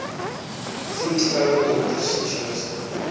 vroedvroue dokters spesialiste